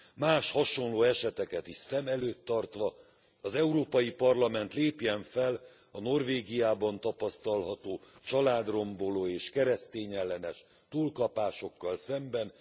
Más hasonló eseteket is szem előtt tartva, az Európai Parlament lépjen fel a Norvégiában tapasztalható családromboló és keresztényellenes túlkapásokkal szemben.